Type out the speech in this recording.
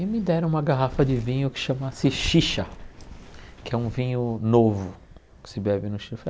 E me deram uma garrafa de vinho que chama sixixa, que é um vinho novo que se bebe no Chile.